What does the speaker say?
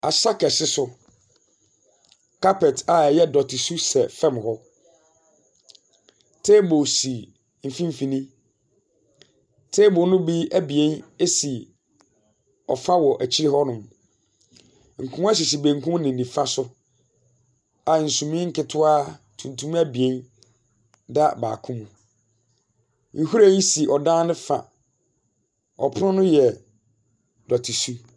Asa kɛse so, carpet a ɛyɛ dɔte su sɛ fem hɔ. Table si mfimfini. Table ne bi abien si ɔfa wɔ akyi hɔnom. Nkonnwa sisi bankum ne nifa so a sunie ketewa tuntum abien da baako. Nhwiren si ɔdan ne fa a ɔpono no yɛ dɔte su.